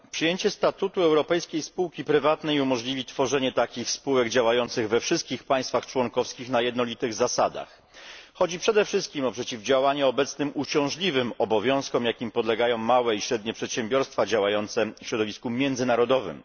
Przyjęcie statutu europejskiej spółki prywatnej umożliwi tworzenie takich spółek działających we wszystkich państwach członkowskich na jednolitych zasadach. Chodzi przede wszystkim o przeciwdziałanie obecnym uciążliwym obowiązkom, jakim podlegają małe i średnie przedsiębiorstwa działające w środowisku międzynarodowym.